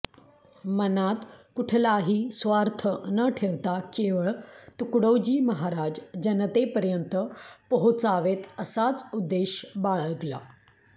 मनात कुठलाही स्वार्थ न ठेवता केवळ तुकडोजी महाराज जनतेपर्यंत पोहोचावेत असाच उद्देश बाळगला